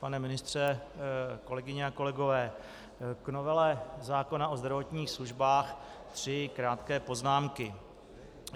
Pane ministře, kolegyně a kolegové, k novele zákona o zdravotních službách tři krátké poznámky.